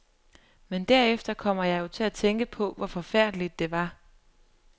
Men derefter kom jeg jo til at tænke på, hvor forfærdeligt, det var.